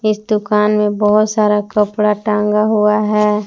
इक दुकान में बहोत सारा कपड़ा टांगा हुआ है।